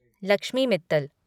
Lakshmi Mittal